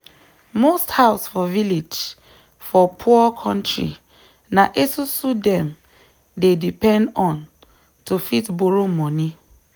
most house for village for poor kontri na esusu dem dey depend on to fit borrow money